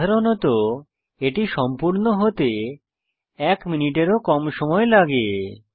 সাধারণত এটি সম্পূর্ণ হতে এক মিনিটের ও কম সময় লাগে